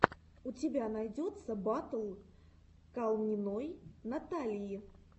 у тебя найдется батл калниной натальи